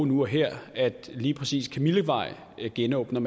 nu og her at lige præcis kamillevej genåbner